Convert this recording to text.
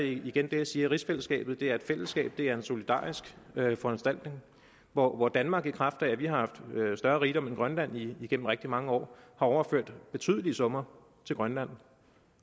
igen gerne sige at rigsfællesskabet er et fællesskab det er en solidarisk foranstaltning hvor hvor danmark i kraft af at vi har haft større rigdom end grønland i i rigtig mange år har overført betydelige summer til grønland